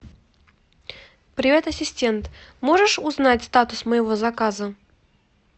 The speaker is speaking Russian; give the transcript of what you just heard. привет ассистент можешь узнать статус моего заказа